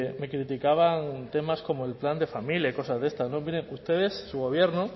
me criticaban temas como el plan de familia y cosas de estas miren ustedes su gobierno